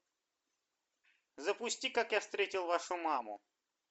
запусти как я встретил вашу маму